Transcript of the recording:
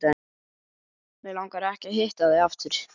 Mig langar ekki að hitta þig aftur.